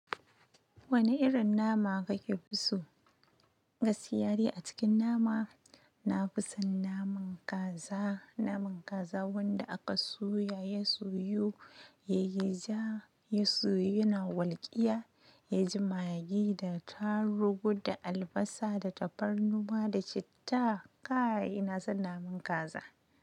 Wane irin nama kake fi so? Gaskiya dai a cikin nama, na fi son naman kaza. Naman kaza wanda aka soya, ya soyu, ya yi ja, ya soyu, yana walƙiya, ya ji magi da tarugu da albasa da tafarnuwa da citta. Kaii, ina son naman kaza.